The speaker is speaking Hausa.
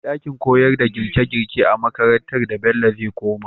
Akwai dakin koyarda girke girke a makarantar da bello zai koma